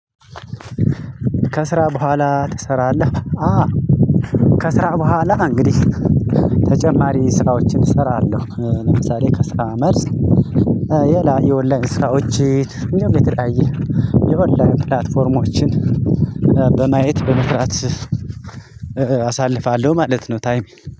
ከስራ በኋላ ትሰራለህ? አ ከስራ በኋላ እንግዲህ ተጨማሪ ስራዎችን እሰራለሁ ለምሳሌ ከስራ መልስ ሌላ የኦንላይን ስራዎችን እንዲሁም የተለያየ የኦላይን ፕላትፎርሞችን። በማየት በመስራት አሳልፋለው ማለት ነው። ታይም